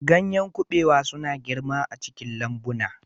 Ganyen kabewa suna girma a cikin lambuna.